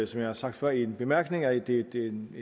som jeg har sagt før i en bemærkning at det er et